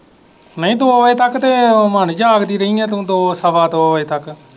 ਨਹੀਂ ਤੂੰ ਉਦੋਂ ਤੱਕ ਤੇ ਜਾਗਦੀ ਰਹੀ ਹੈ ਤੂੰ ਦੋ ਸਵਾ ਦੋ ਵਜੇ ਤੱਕ।